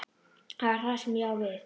Það er það sem ég á við.